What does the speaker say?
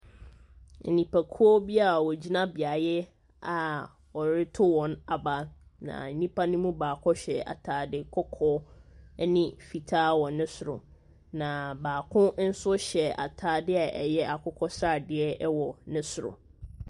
Nnipakuo bi a wɔgyina beaeɛ a wɔretow wɔn aba, na nnipa ne mu baako hyɛ ataade kɔkɔɔ ne fitaa wɔ ne soro. Na baako nso hyɛ ataadeɛ a ɛyɛ akokɔsradeɛ wɔ ne soro.